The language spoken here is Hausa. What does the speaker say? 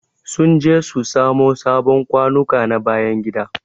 Sun je su samo sabon kwanuka na bayan gida.